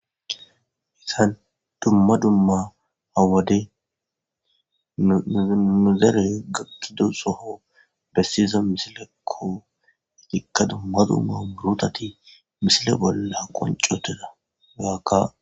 Hayssan dumma dumma ha wode nu dere gakidasso besiza missileko ikka dumma dumma muruthathi missile bolla qocutida hegaka